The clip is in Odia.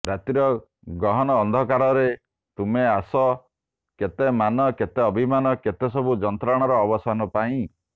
ରାତ୍ରିର ଗହନ ଅନ୍ଧକାରରେ ତୁମେ ଆସ କେତେ ମାନ କେତେ ଅଭିମାନ କେତେସବୁ ଯନ୍ତ୍ରଣାର ଅବସାନ ପାଇଁ